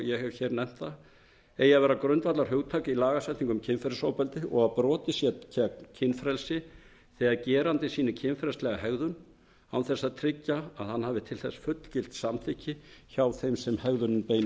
ég hef hér nefnt það eigi að vera grundvallarhugtak í lagasetningu um kynferðisofbeldi og að brotið sé gegn kynfrelsi þegar gerandinn sýnir kynferðislega hegðun án þess að tryggja að hann hafi til þess fullgilt samþykki hjá þeim sem hegðunin beinist að